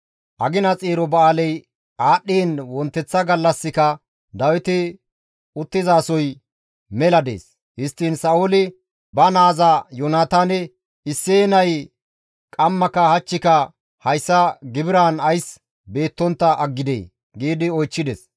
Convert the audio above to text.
Agina xeero ba7aaley aadhdhiin wonteththa gallassika Dawiti uttizasoy mela dees; Histtiin Sa7ooli ba naaza Yoonataane, «Isseye nay qammaka hachchika hayssa gibiraan ays beettontta aggidee?» giidi oychchides.